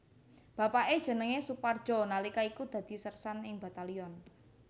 Bapake jenenge Soepardjo nalika iku dadi sersan ing Batalyon